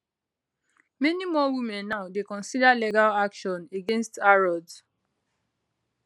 many more women now dey consider legal action against harrods